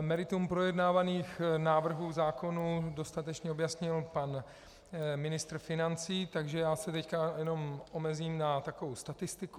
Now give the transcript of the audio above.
meritum projednávaných návrhů zákonů dostatečně objasnil pan ministr financí, takže já se teď jenom omezím na takovou statistiku.